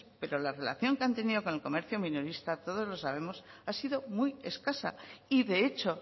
pero la relación que han tenido con el comercio minorista todos lo sabemos ha sido muy escasa y de hecho